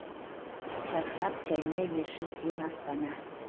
жарқырап жайнай берші сен астана